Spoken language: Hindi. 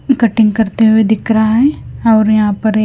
कटिंग करते हुए दिख रहा है और यहां पर एक--